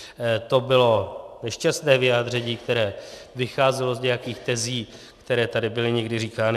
To bylo nešťastné vyjádření, které vycházelo z nějakých tezí, které tady byly někdy říkány.